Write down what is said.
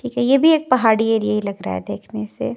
ये भी एक पहाड़ी एरिया लगता है देखने से--